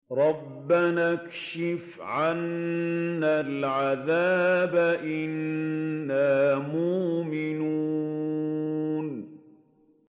رَّبَّنَا اكْشِفْ عَنَّا الْعَذَابَ إِنَّا مُؤْمِنُونَ